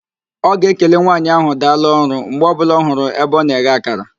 Ọ ga-ekele nwaanyị ahụ, "daalụ ọrụ" mgbe ọbụla ọ hụrụ ebe ọ na-eghe akara